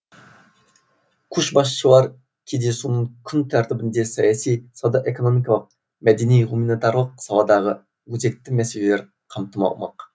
көшбасшылар кездесуінің күн тәртібінде саяси сауда экономикалық мәдени гуманитарлық саладағы өзекті мәселелер қамтылмақ